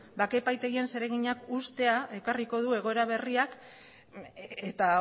bake epaitegien zereginak uztea ekarriko du egoera berriak eta